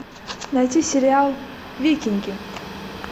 найти сериал викинги